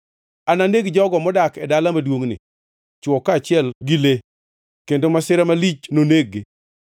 Ananeg jogo modak e dala maduongʼni, chwo kaachiel gi le kendo masira malich noneg-gi.